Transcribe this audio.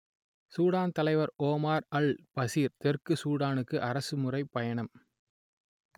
Sudan தலைவர் Omar al Bashir தெற்கு சூடானுக்கு அரசு முறைப் பயணம்